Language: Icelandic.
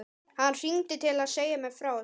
Hann hringdi til að segja mér frá þessu.